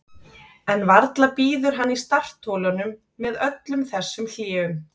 Karen: En varla bíður hann í startholunum með öllum þessum hléum?